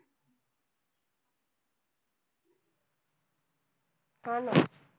हा ना.